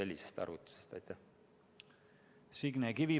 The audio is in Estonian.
Signe Kivi, palun!